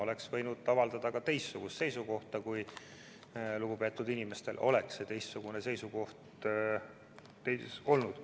Oleks võinud avaldada ka teistsugust seisukohta, kui lugupeetud inimestel oleks see teistsugune seisukoht olnud.